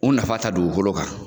U nafa ta dugukolo kan